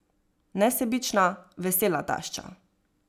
Nesebična, vesela tašča.